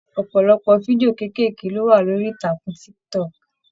Ọpọlọpọ fídíò keekeeke lo wà lórí ìtàkùn TikTok.